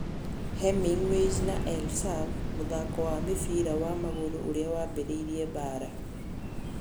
Hemingways na El Sav: Mũthako wa mũbira wa magũrũ ũrĩa waambĩrĩirie mbaara